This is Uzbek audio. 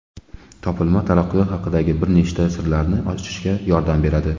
Topilma taraqqiyot haqidagi bir nechta sirlarni ochishga yordam beradi.